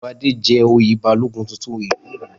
Wọn yóò fi Fadé jẹ oyè Balógun tuntun ìlú yẹn.